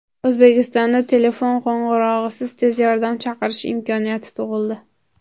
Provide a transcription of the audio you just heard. O‘zbekistonda telefon qo‘ng‘irog‘isiz tez yordam chaqirish imkoniyati tug‘ildi.